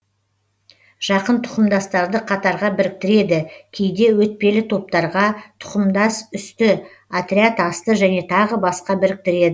жақын тұқымдастарды қатарға біріктіреді кейде өтпелі топтарға тұқымдас үсті отряд асты және тағы басқа біріктіреді